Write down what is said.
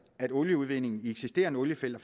at olieudvinding i eksisterende oliefelter